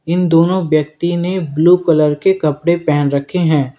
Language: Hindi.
इन दोनों व्यक्ति ने ब्लू कलर के कपड़े पहन रखे हैं।